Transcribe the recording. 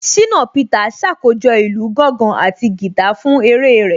Ṣínà Peters ṣàkójọ̀ ìlù gángan àti guitar fún eré rẹ̀